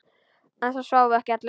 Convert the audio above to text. En það sváfu ekki allir.